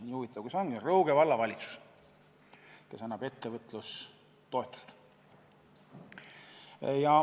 Nii huvitav kui see ka ei ole, Rõuge Vallavalitsus annab ettevõtlustoetust.